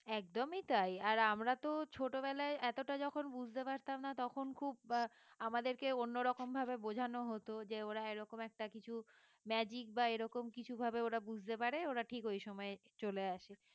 একদমই তাই আর আমরা তো ছোটবেলায় এতটা যখন বুঝতে পারতাম না তখন খুব আহ আমাদেরকে অন্যরকম ভাবে বোঝানো হতো যে ওরা ওরকম একটা কিছু magic বা এরকম কিছু ভাবে ওরা বুঝতে পারে ওরা ঠিক ওই সময়ে চলে আসে